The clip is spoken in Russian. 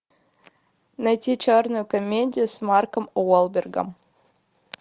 найти черную комедию с марком уолбергом